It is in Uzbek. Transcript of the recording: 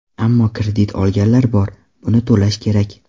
Ammo kredit olganlar bor, buni to‘lash kerak.